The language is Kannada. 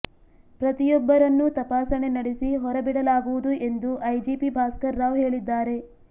ಪ್ರತಿಯೊಬ್ಬರನ್ನೂ ತಪಾಸಣೆ ನಡೆಸಿ ಹೊರಬಿಡಲಾಗುವುದು ಎಂದು ಐಜಿಪಿ ಭಾಸ್ಕರ್ ರಾವ್ ಹೇಳಿದ್ದಾರೆ